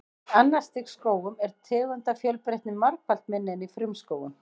Í annars stigs skógum er tegundafjölbreytni margfalt minni en í frumskógum.